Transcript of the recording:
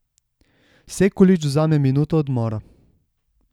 Sekulić vzame minuto odmora.